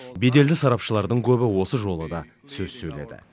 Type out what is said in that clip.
беделді сарапшылардың көбі осы жолы да сөз сөйледі